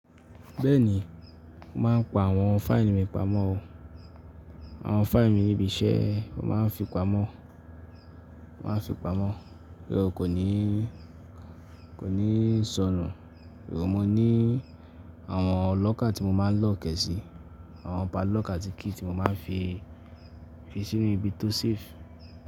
Bẹ́ẹ̀ni, mo máa n pa àwọn fáìlì mi pamọ́ o. Àwọn fáìlì mi ni ibi iṣẹ́, mo máa n fi pamọ́, mo máa n fi pamọ́. So kó ní sọnù. Mo ní àwọn locker tí mo máa n lock e si, àwọn padlock àti key tí mo máa n fi sínú ibi tó safe.